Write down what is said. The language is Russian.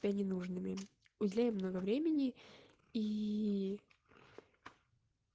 не нужны мы узнаем много времени и